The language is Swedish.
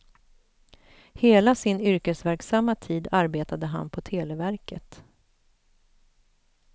Hela sin yrkesverksamma tid arbetade han på televerket.